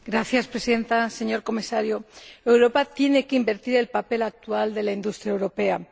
Señora Presidenta, señor Comisario, Europa tiene que invertir el papel actual de la industria europea.